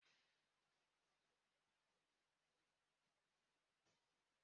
Ọkpụkpụ úkwù bụ ọkpụkpụ kachasị nke anụ ahụ